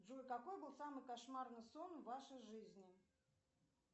джой какой был самый кошмарный сон в вашей жизни